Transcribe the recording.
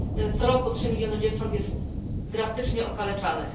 Co roku trzy miliony dziewcząt jest drastycznie okaleczanych.